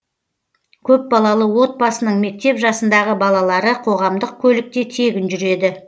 көпбалалы отбасының мектеп жасындағы балалары қоғамдық көлікте тегін жүреді